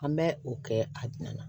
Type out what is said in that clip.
An bɛ o kɛ a nana